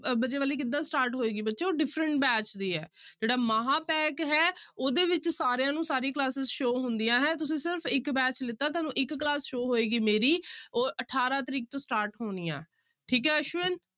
ਵਜੇ ਵਾਲੀ ਕਿੱਦਾਂ start ਹੋਏਗੀ ਬੱਚੇ ਉਹ different batch ਦੀ ਹੈ ਜਿਹੜਾ ਮਹਾਂਪੈਕ ਹੈ ਉਹਦੇ ਵਿੱਚ ਸਾਰਿਆਂ ਨੂੰ ਸਾਰੀ classes show ਹੁੰਦੀਆਂ ਹੈ, ਤੁਸੀਂ ਸਿਰਫ਼ ਇੱਕ batch ਲਿੱਤਾ ਤੁਹਾਨੂੰ ਇੱਕ class show ਹੋਏਗੀ ਮੇਰੀ ਉਹ ਅਠਾਰਾਂ ਤਰੀਕ ਤੋਂ start ਹੋਣੀ ਆਂ, ਠੀਕ ਹੈ ਅਸ਼ਵਿਨ।